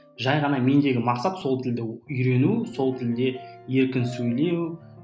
жай ғана мендегі мақсат сол тілді үйрену сол тілде еркін сөйлеу